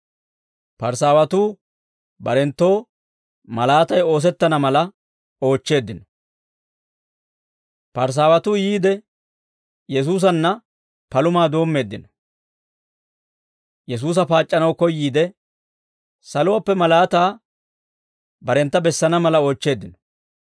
Parisaawatuu yiide, Yesuusanna palumaa doommeeddino. Yesuusa paac'c'anaw koyyiide, saluwaappe malaataa barentta bessana mala oochcheeddino.